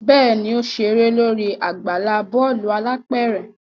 Bẹẹni, o ṣere lori agbala bọọlu alápẹrẹ